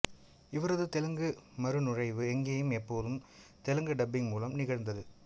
இவரது தெலுங்கு மறுநுழைவு எங்கேயும் எப்போதும்ன் தெலுங்கு டப்பிங் மூலம் நிகழ்ந்தது